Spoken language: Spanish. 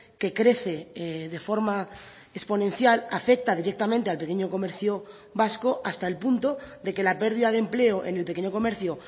que crece de forma exponencial afecta directamente al pequeño comercio vasco hasta el punto de que la pérdida de empleo en el pequeño comercio